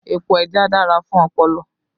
Epo ẹja dára fún ọpọlọ